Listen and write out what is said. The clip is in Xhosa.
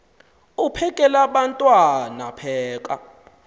uphekel abantwana pheka